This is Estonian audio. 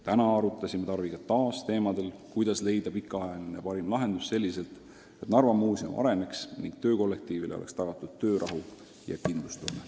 Täna arutasime Tarviga taas, kuidas leida pikaajaline parim lahendus selliselt, et Narva Muuseum areneks ning töökollektiivile oleks tagatud töörahu ja kindlustunne.